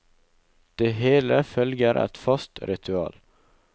Det hele følger et fast ritual.